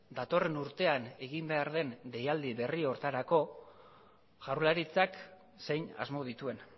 datorren urtean egin behar den deialdi berri horretarako jaurlaritzak zein asmo dituen